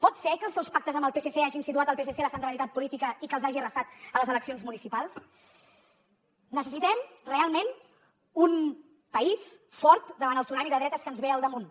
pot ser que els seus pactes amb el psc hagin situat el psc a la centralitat política i que els hagi arrasat a les eleccions municipals necessitem realment un país fort davant el tsunami de dretes que ens ve al damunt